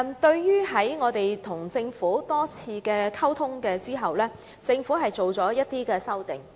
在與我們多次溝通後，政府作出了一些修訂。